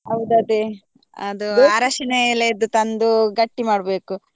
ಹೌದ್ ಅದೆ ಅದು ಅರಶಿನ ಎಲೆಯದ್ದು ತಂದು ಗಟ್ಟಿ ಮಾಡ್ಬೇಕು.